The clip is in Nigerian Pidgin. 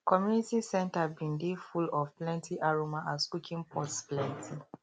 community centre bin dey full of plenty aroma as cooking pots plenty